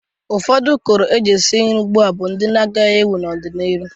Ụfọdụ ụkọrọ e ji esi nri ugbu a ma ndị n'ewu n'ọ dị n'iru.